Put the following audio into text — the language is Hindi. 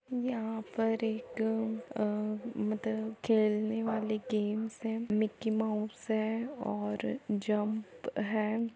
यहाँ पर एक अ उम मतलब खलेने वाली गेम्स हैं। मक्की माउस है और जम्प है।